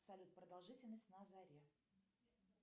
салют продолжительность на заре